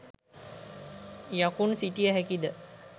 යකුන් සිටිය හැකිද?